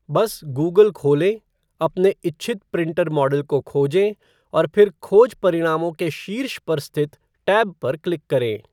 बस गूगल खोलें, अपने इच्छित प्रिंटर मॉडल को खोजें, और फिर खोज परिणामों के शीर्ष पर स्थित टैब पर क्लिक करें।